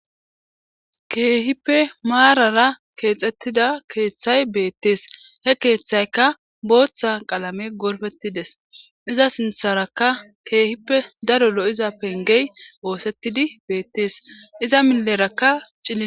Keehippe maarara keexettida keeththay beettees he keeththaykka booththa qalame gorfettides iza sintharaka keehippe daro lo'iza pengey woosettidi beettees iza milerakka cille.